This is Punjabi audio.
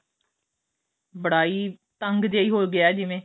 ਬੜਾ ਈ ਤੰਗ ਜਿਹਾ ਹੋ ਗਿਆ ਜਿਵੇਂ